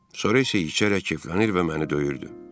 Sonra isə içərək keflənir və məni döyürdü.